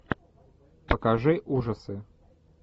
покажи ужасы